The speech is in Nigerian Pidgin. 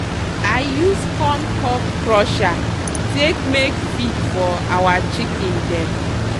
i use corn cob crusher take make feed for our chicken dem